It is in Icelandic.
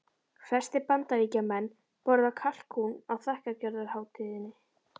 Flestir Bandaríkjamenn borða kalkún á þakkargjörðarhátíðinni.